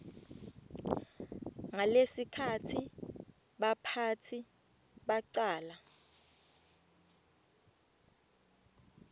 ngalesikhatsi baphatsi bacala